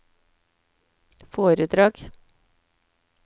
foredrag